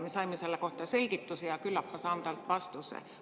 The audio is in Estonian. Me saime selle kohta selgituse ja küllap ma saan ka temalt vastuse.